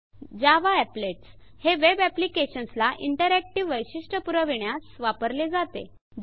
Java Applets हे web applications ला interactive वैशिष्ट्य पुरवीण्यास वापरले जाते